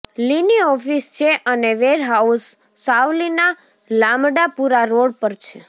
લિની office છે અને warehouse સાવલીના લામડાપુરા રોડ પર છે